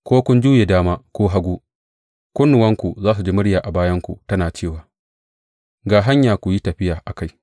Ko kun juye dama ko hagu, kunnuwanku za su ji murya a bayanku tana cewa, Ga hanya; ku yi tafiya a kai.